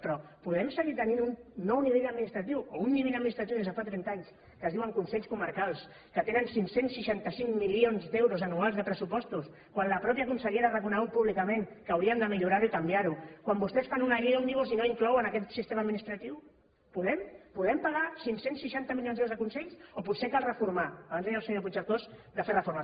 però podem seguir tenint un nou nivell administratiu o un nivell administratiu des de fa trenta anys que es diuen consells comarcals que tenen cinc cents i seixanta cinc milions d’euros anuals de pressupostos quan la mateixa consellera ha reconegut públicament que haurien de millorar ho i canviar ho quan vostès fan una llei òmnibus i no inclouen aquest sistema administratiu podem podem pagar cinc cents i seixanta milions d’euros a consells o potser cal reformar abans deia el senyor puigcercós de fer reformes